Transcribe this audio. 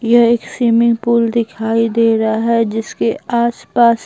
यह एक swimming pool दिखाई दे रहा है जिसके आसपास--